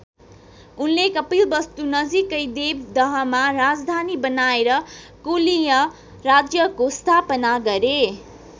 उनले कपिलवस्तु नजिकै देवदहमा राजधानी बनाएर कोलीय राज्यको स्थापना गरे।